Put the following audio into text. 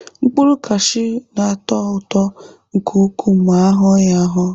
Mkpụrụ kashiu na-atọ ụtọ nke ukwuu ma ahụọ ya ahụọ.